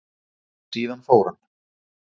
Síðan fór hann.